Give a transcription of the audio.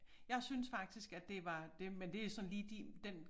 Jeg synes faktisk at det var det men det er sådan lige din den